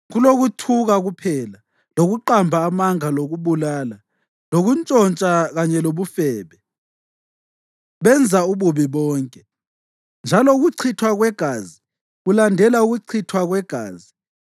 Kulokuthuka kuphela, lokuqamba amanga lokubulala, lokuntshontsha kanye lobufebe; benza ububi bonke, njalo ukuchithwa kwegazi kulandela ukuchithwa kwegazi.